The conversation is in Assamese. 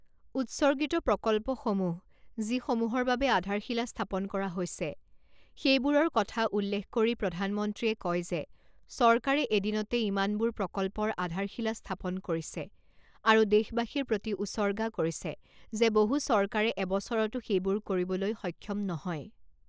উৎসৰ্গিত প্ৰকল্পসমূহ যিসমূহৰ বাবে আধাৰশিলা স্থাপন কৰা হৈছে সেইবোৰৰ কথা উল্লেখ কৰি প্ৰধানমন্ত্ৰীয়ে কয় যে চৰকাৰে এদিনতে ইমানবোৰ প্ৰকল্পৰ আধাৰশিলা স্থাপন কৰিছে আৰু দেশবাসীৰ প্ৰতি উৎসৰ্গা কৰিছে যে বহু চৰকাৰে এবছৰতো সেইবোৰ কৰবলৈ সক্ষম নহয়।